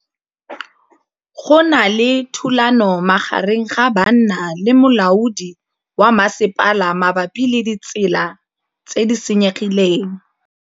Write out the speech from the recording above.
Go na le thulanô magareng ga banna le molaodi wa masepala mabapi le ditsela tse di senyegileng.